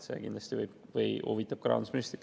See kindlasti huvitab ka rahandusministrit.